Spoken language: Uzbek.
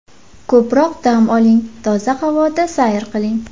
Ko‘proq dam oling, toza havoda sayr qiling.